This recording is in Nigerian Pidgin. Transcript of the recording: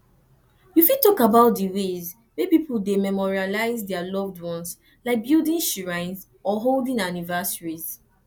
you fit talk about di ways wey people dey memorialize dia loved ones like building shrines or holding anniversaries